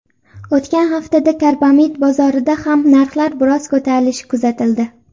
O‘tgan haftada karbamid bozorida ham narxlar biroz ko‘tarilishi kuzatildi.